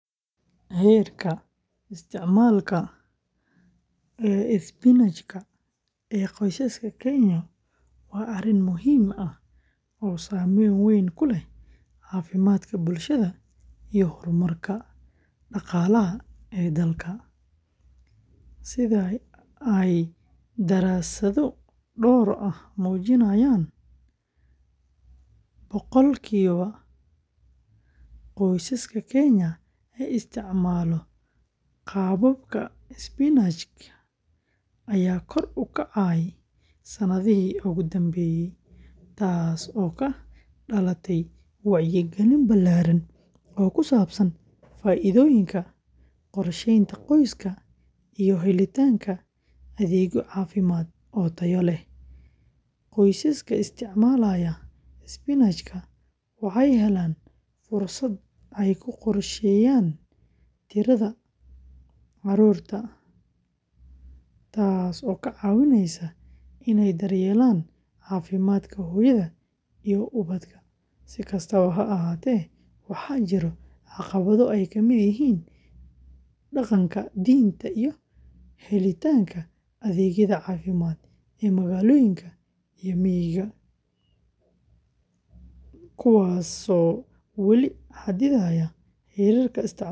Heerka isticmaalka isbinaajka ee qoysaska Kenya waa arrin muhiim ah oo saameyn weyn ku leh caafimaadka bulshada iyo horumarka dhaqaalaha ee dalka. Sida ay daraasado dhowr ah muujinayaan, boqolkiiba qoysaska Kenya ee isticmaala qaababka isbinaajka ayaa kor u kacay sanadihii ugu dambeeyay, taasoo ka dhalatay wacyigelin ballaaran oo ku saabsan faa’iidooyinka qorsheynta qoyska iyo helitaanka adeegyo caafimaad oo tayo leh. Qoysaska isticmaalaya isbinaajka waxay helaan fursad ay ku qorsheeyaan tirada carruurta, taasoo ka caawisa inay daryeelaan caafimaadka hooyada iyo ubadka. Si kastaba ha ahaatee, waxaa jira caqabado ay ka mid yihiin dhaqanka, diinta, iyo helitaanka adeegyada caafimaad ee magaalooyinka iyo miyiga, kuwaasoo weli xaddidaya heerka isticmaalka isbinaajka. Dowladda Kenya iyo hay’adaha caafimaadka ayaa sii wada dadaallada wacyigelin.